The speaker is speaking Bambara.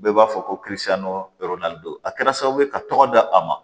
Bɛɛ b'a fɔ ko don a kɛra sababu ye ka tɔgɔ d'a ma